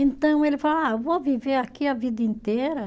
Então ele fala ah, vou viver aqui a vida inteira.